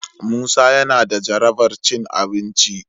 Musa yana da jarabar cin abinci.